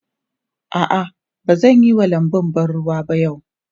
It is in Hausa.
A'a, ba zan yi wa lanbun ban ruwa ba yau.